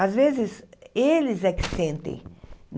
Às vezes, eles é que sentem.